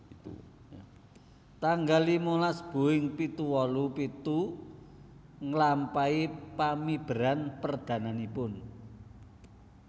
Tanggal limalas Boeing pitu wolu pitu nglampahi pamiberan perdananipun